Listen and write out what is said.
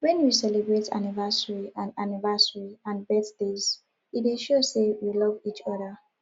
when we celebrate anniversary and anniversary and birthdays e dey show sey we love each oda